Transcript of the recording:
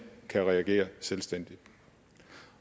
kan reagere selvstændigt